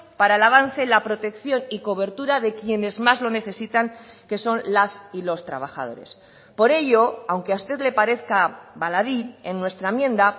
para el avance la protección y cobertura de quienes más lo necesitan que son las y los trabajadores por ello aunque a usted le parezca baladí en nuestra enmienda